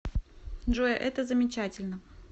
джой это замечательно